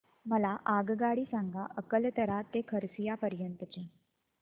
मला आगगाडी सांगा अकलतरा ते खरसिया पर्यंत च्या